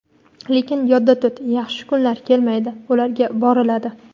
Lekin yodda tut, yaxshi kunlar "kelmaydi", ularga "boriladi".